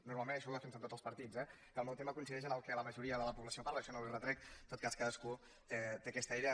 normalment ai·xò ho defensen tots els partits eh que el meu tema coincideix amb el que la majoria de la població parla això no li ho retrec en tot cas cadascú té aquesta idea